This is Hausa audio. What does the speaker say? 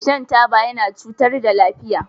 Shan taba yana cutar yana cutar da lafiya.